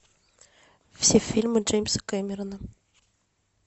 все фильмы джеймса кэмерона